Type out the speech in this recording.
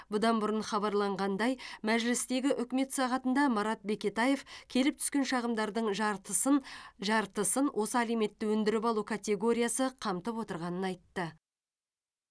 бұдан бұрын хабарланғандай мәжілістегі үкімет сағатында марат бекетаев келіп түскен шағымдардың жартысын жартысын осы алиментті өндіріп алу категориясы қамтып отырғанын айтты